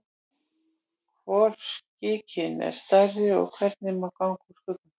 Hvor skikinn er stærri og hvernig má ganga úr skugga um það?